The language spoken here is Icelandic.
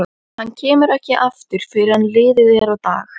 Hann kemur ekki aftur fyrr en liðið er á dag.